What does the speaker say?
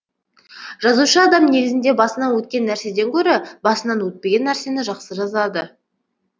жазушы адам негізінде басынан өткен нәрседен гөрі басынан өтпеген нәрсені жақсы жазады